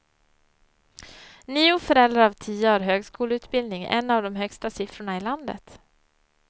Nio föräldrar av tio har högskoleutbildning, en av de högsta siffrorna i i landet.